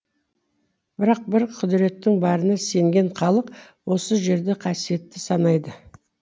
бірақ бір құдіреттің барына сенген халық осы жерді қасиетті санайды